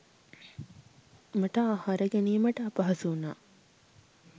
මට ආහාර ගැනීමට අපහසු වුණා.